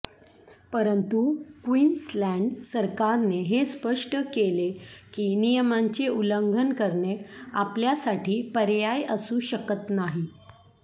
परंतु क्वीन्सलँड सरकारने हे स्पष्ट केले की नियमांचे उल्लंघन करणे आपल्यासाठी पर्याय असू शकत नाही